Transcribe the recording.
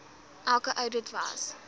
elke oudit was